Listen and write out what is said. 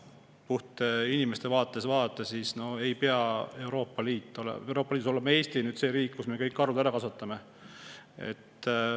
Puht inimeste vaatest ei pea Euroopa Liidus olema Eesti see riik, kus me kõiki karusid kasvatame.